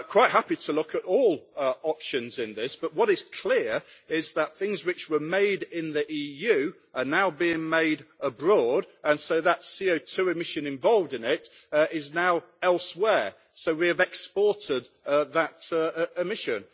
I am quite happy to look at all options in this, but what is clear is that things which were made in the EU are now being made abroad and so the CO2 emission involved in this is now elsewhere, so we have exported that emission.